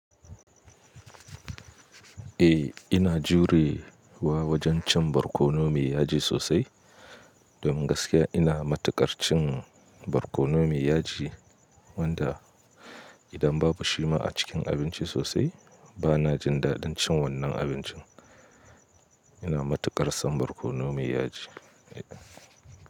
Eh ina jure wa wajen cin barkono maiyaji sosai, domin gaskiya ina matuƙar cin barkonon maiyaji wanda idan babu shi ma a cikin abinci sosai bana jin daɗin cin wannan abincin. Ina matuƙar son barkonon miyaji.